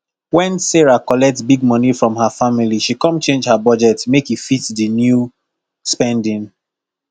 when sarah collet big moni from her family she come change her budget make e fit di new spending